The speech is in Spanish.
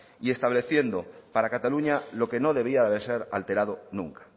y estableciendo para cataluña lo que no debía de ser alterado nunca